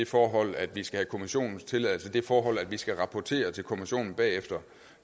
forhold at vi skal have kommissionens tilladelse det forhold at vi skal rapportere til kommissionen bagefter